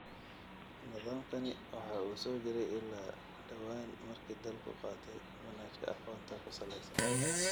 Nidaamkani waxa uu soo jiray ilaa dhawaan markii dalku qaatay manhajka aqoonta ku salaysan.